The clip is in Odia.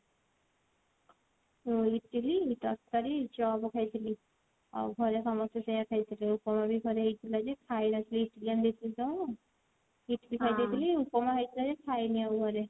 ଇଟିଲି ତରକାରୀ ଚପ ଖାଇଥିଲି ଆଉ ଘରେ ସମସ୍ତେ ସେଇଆ ଖାଇଥିଲେ ଉପମା ବି ଘରେ ହେଇଥିଲା ଯେ ଖାଇଲା ଆସିକି ଇଟିଲି ଆଣିଦେଇଥିଲି ତ ଇଟିଲି ଖାଇଦେଇଥିଲି ଉପମା ହେଇଥିଲା ଯେ ଖାଇନି ଆଉ ଘରେ